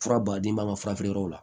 Fura baden b'an ka fura feere yɔrɔw la